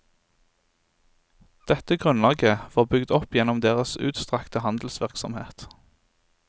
Dette grunnlaget var bygd opp gjennom deres utstrakte handelsvirksomhet.